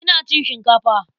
Ina cin shinkafa.